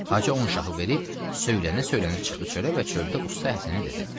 Hacı onun şahı verib söylənə-söylənə çıxdı çölə və çöldə Usta Həsənə dedi.